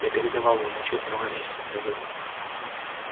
я передавал вам отчёт много месяцев назад